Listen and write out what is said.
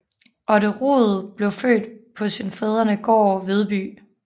Otte Rud blev født på sin fædrenegård Vedby